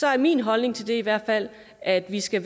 er min holdning til det i hvert fald at vi skal